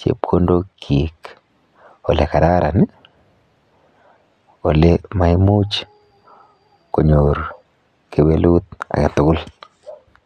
chepkondokchik ole kararan ole maimuch konyor kewelut age tugul.